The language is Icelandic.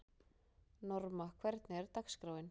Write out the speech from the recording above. Norma, hvernig er dagskráin?